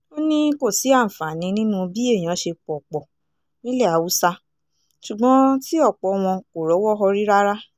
ó ní kò sí àǹfààní nínú bí èèyàn ṣe pọ̀ pọ̀ nílẹ̀ haúsá ṣùgbọ́n tí ọ̀pọ̀ wọn kò rọ́wọ́ họrí rárá